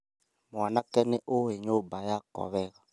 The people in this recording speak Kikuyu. Mwanake nĩũĩ nyũmba yakwa wega